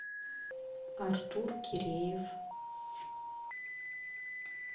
артур киреев